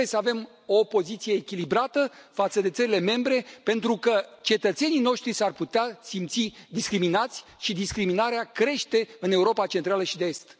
Trebuie să avem o poziție echilibrată față de țările membre pentru că cetățenii noștri s ar putea simți discriminați și discriminarea crește în Europa Centrală și de Est.